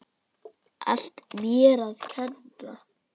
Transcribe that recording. Allt mér að kenna.